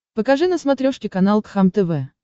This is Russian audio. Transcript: покажи на смотрешке канал кхлм тв